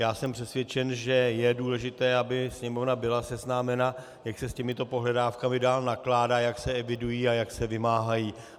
Já jsem přesvědčen, že je důležité, aby Sněmovna byla seznámena, jak se s těmito pohledávkami dále nakládá, jak se evidují a jak se vymáhají.